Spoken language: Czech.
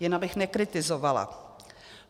Jen abych nekritizovala.